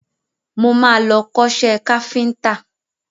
Mo máa lọ kọ́ṣẹ́ káfíntà.